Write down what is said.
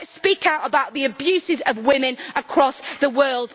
let us speak out about abuses of women across the world.